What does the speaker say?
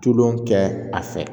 Tulon kɛ a fɛ